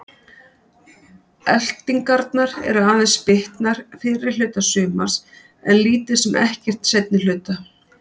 Elftingarnar eru aðeins bitnar fyrri hluta sumars en lítið sem ekkert seinni hluta.